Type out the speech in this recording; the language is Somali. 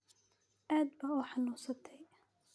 Caad ba uxanunsadhey.